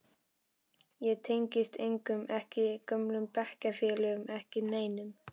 Ég tengdist engum, ekki gömlu bekkjarfélögunum, ekki neinum.